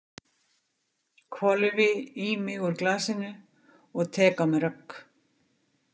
Hvolfi í mig úr glasinu og tek á mig rögg.